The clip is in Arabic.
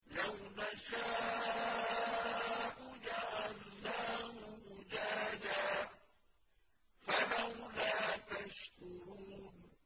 لَوْ نَشَاءُ جَعَلْنَاهُ أُجَاجًا فَلَوْلَا تَشْكُرُونَ